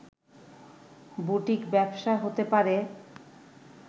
boutique ব্যবসা হতে পারে